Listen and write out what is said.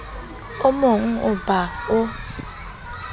o mogn oo ba o